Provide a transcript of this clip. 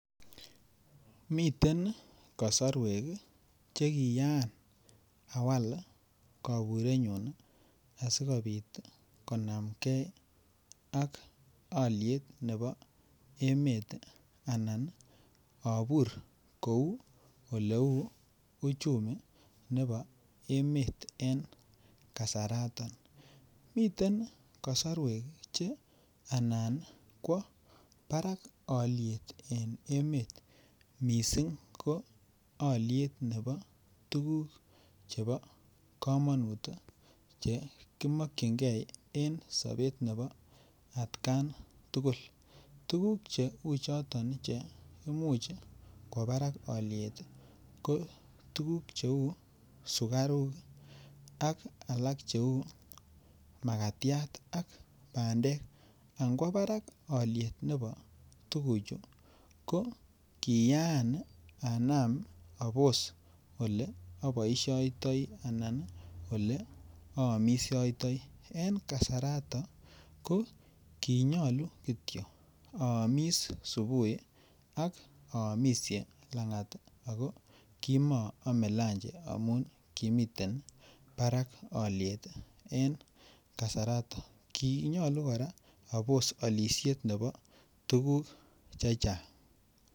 Miten kosorwek Che kiyaan awaal koburenyun asi kobit konamge ak alyet nebo emet anan abur kou oleu uchumi nebo emet en kasarato miten kasarwek Che anan kwo barak alyet en emet mising ko alyet nebo tuguk chebo kamanut chekimokyingei en sobet nebo atkan tugul tuguk cheu choto Che Imuch kwo barak alyet ko tuguk cheu sukaruk ak alak cheu makatiat ak bandek ngwo barak alyet nebo tuguchu ko kiyaan anam aboisiotoi anan aamisiotoi en kasarato ko ki nyolu Kityo aamis subuhi ak aamisie Langat ii ago ko moome lanji amun kimiten barak alyet en kasarato ki nyolu kora abos alisiet nebo tuguk chechang